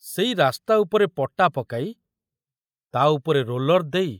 ସେଇ ରାସ୍ତା ଉପରେ ପଟା ପକାଇ ତା ଉପରେ ରୋଲର ଦେଇ